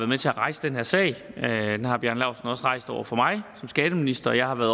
med til at rejse den her sag den har bjarne laustsen også rejst over for mig som skatteminister jeg har været